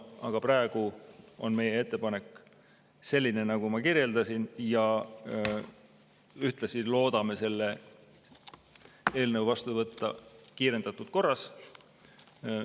Aga praegu on meie ettepanek selline, nagu ma kirjeldasin, ja ühtlasi loodame selle eelnõu vastu võtta kiirendatud korras.